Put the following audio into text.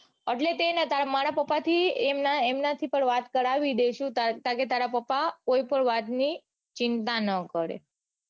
એટલે જ તે તાણ મારા પપા થી એમના એમનાથી પણ વાત કરાવી દઇશુ કે તારા પપા વાત ની ચિંતા કરે.